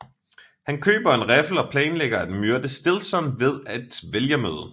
Han køber en riffel og planlægger at myrde Stillson ved et vælgermøde